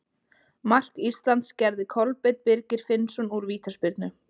Mark Íslands gerði Kolbeinn Birgir Finnsson úr vítaspyrnu.